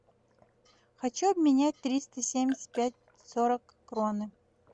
хочу обменять триста семьдесят пять сорок кроны